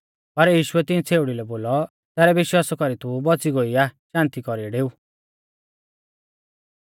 पर यीशुऐ तिऐं छ़ेउड़ी लै बोलौ तैरै विश्वासा कौरीऐ तू बौच़ी गोई आ शान्ति कौरीऐ डेऊ